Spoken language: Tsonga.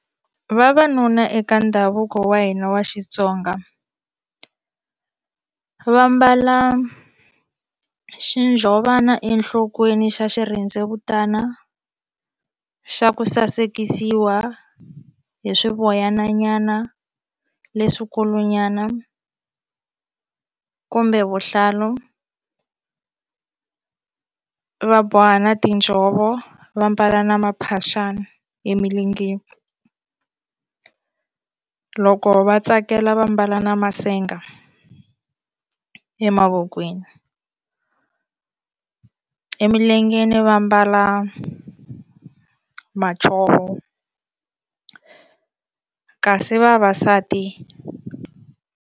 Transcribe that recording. Vavanuna eka ndhavuko wa hina wa Xitsonga va mbala xinjhovana enhlokweni xa xirhendzevutana xa ku sasekisiwa hi swivoyana nyana leswikulu nyana kumbe vuhlalu va boha na tinjhovo va mbala na maphaxani emilengeni loko va tsakela va mbala na masenga emavokweni emilengeni va ambala madzovo kasi vavasati.